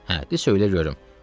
Hə, de söylə görüm.